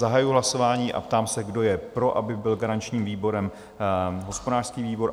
Zahajuji hlasování a ptám se, kdo je pro, aby byl garančním výborem hospodářský výbor?